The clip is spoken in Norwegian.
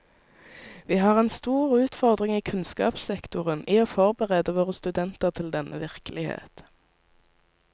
Vi har en stor utfordring i kunnskapssektoren i å forberede våre studenter til denne virkelighet.